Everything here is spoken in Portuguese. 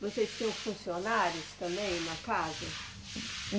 Vocês tinham funcionários também na casa?